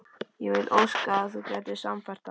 Ég vildi óska að þú gætir sannfært þá